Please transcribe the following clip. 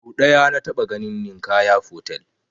Sau ɗaya na taɓa ganin Ninkaya fotel